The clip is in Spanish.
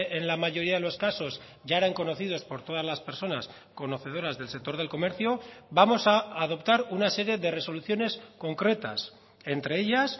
en la mayoría de los casos ya eran conocidos por todas las personas conocedoras del sector del comercio vamos a adoptar una serie de resoluciones concretas entre ellas